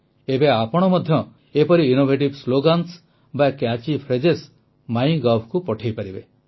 ଏବେ ଆପଣ ମଧ୍ୟ ଏପରି ଇନୋଭେଟିଭ୍ ସ୍ଲୋଗାନ୍ସ ବା କ୍ୟାଚି ଫ୍ରେଜ ମାଇଗଭ୍ ପଠାଇପାରିବେ